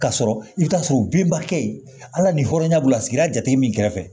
Ka sɔrɔ i bɛ taa sɔrɔ binba kɛ ye hali ni hɔrɔnya b'u la sigida jate min kɛrɛfɛ